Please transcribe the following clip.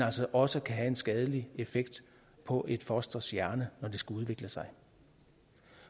altså også kan have en skadelig effekt på et fosters hjerne når det skal udvikle sig